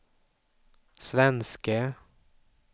svenske